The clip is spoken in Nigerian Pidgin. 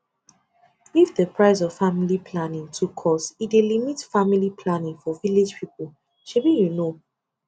if the price of family planning too cost e dey limit family planning for village people shebi you know